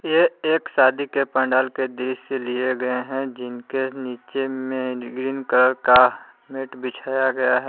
ये एक शादी के पंडाल के दृश्य से लिए गए हैं जिनके नीचे में ग्रीन कलर का मैट बिछाया गया है।